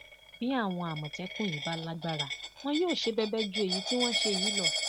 bí àwọn àmọtẹkùn yí bá lágbára wọn yóò ṣe bẹbẹ ju èyí tí wọn ń ṣe yìí lọ